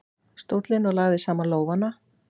stólinn og lagði saman lófana.